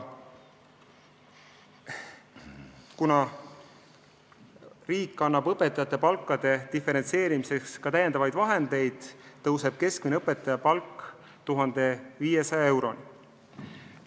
Kuna riik annab õpetajate palkade diferentseerimiseks ka täiendavaid vahendeid, tõuseb õpetajate keskmine palk 1500 euroni.